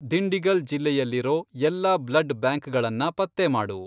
ದಿಂಡಿಗಲ್ ಜಿಲ್ಲೆಯಲ್ಲಿರೋ ಎಲ್ಲಾ ಬ್ಲಡ್ ಬ್ಯಾಂಕ್ಗಳನ್ನ ಪತ್ತೆ ಮಾಡು.